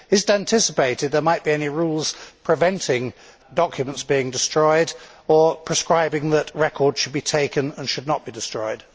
Is it anticipated there might be any rules preventing documents being destroyed or prescribing that record should be taken and should not be destroyed?